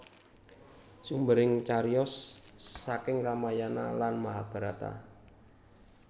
Sumbering cariyos saking Ramayana lan Mahabarata